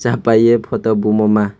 sa paye photo bomo ma.